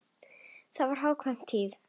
Þá var hagkvæm tíð.